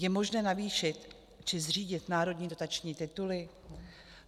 Je možné navýšit či zřídit národní dotační tituly?